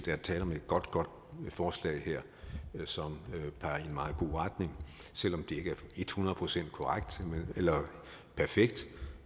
er tale om et godt godt forslag her som peger i en meget god retning selv om det ikke er et hundrede procent perfekt